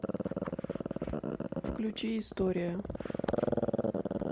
включи история